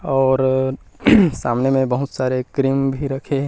और सामने में बहुत सारे क्रीम भी रखे हे।